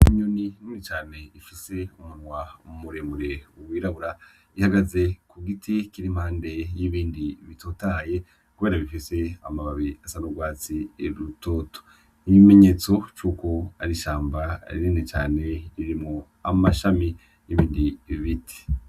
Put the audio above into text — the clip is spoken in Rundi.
Inyoni nunicane ifise umunwa mumuremure uwirabura ihagaze ku giti kirimande y'ibindi bitotaye, kubera bifise amababi asarurwatsi erutoto 'ibimenyetso c'uku arishamba ririni cane ririmwo amashami y'ibindi bibiti.